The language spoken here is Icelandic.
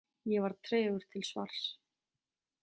Ég var tregur til svars.